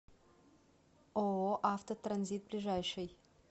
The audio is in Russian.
ооо автотранзит ближайший